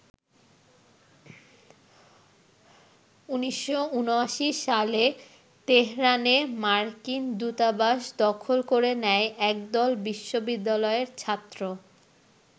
১৯৭৯ সালে তেহরানে মার্কিন দূতাবাস দখল করে নেয় একদল বিশ্ববিদ্যালয়ের ছাত্র।